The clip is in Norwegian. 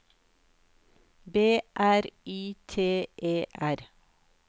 B R Y T E R